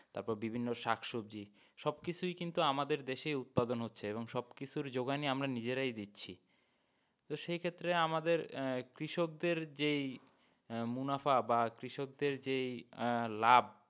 তারপর বিভিন্ন শাক সবজি সব কিছুই কিন্তু আমাদের দেশেই উৎপাদন হচ্ছে এবং সবকিছুর যোগান ই আমরা নিজেরাই দিচ্ছি তো সেইক্ষেত্রে আমাদের আহ কৃষক দের যেই মুনাফা বা কৃষকদের যেই আহ লাভ,